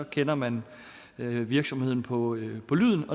kender man virksomheden på lyden på lyden